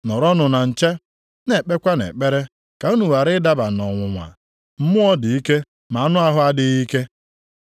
Nọrọnụ na nche, na-ekpekwanụ ekpere ka unu ghara ịdaba nʼọnwụnwa. Mmụọ dị ike ma anụ ahụ adịghị ike.”